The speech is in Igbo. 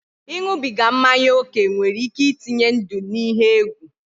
Iṅụbiga mmanya oke nwere ike itenye ndụ n'ihe egwu